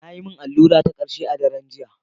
Na yi min allura ta karshe a daren jiya.